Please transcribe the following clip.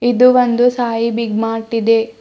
ಇದು ಒಂದು Sai big mart ಇದೆ.